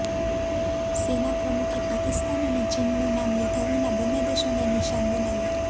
સેના પ્રમુખે પાકિસ્તાન અને ચીનનું નામ લીધા વિના બંને દેશોને નિશાન બનાવ્યા